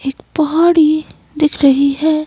एक पौड़ी दिख रही है।